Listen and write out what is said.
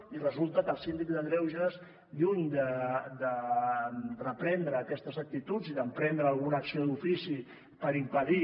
i resulta que el síndic de greuges lluny de reprendre aquestes actituds i d’emprendre alguna acció d’ofici per impedir